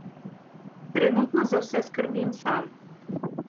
Trenutno za vse skrbim sam.